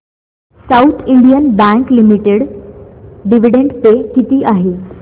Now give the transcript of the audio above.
south Indian Bank Limited dividend pay किती आहे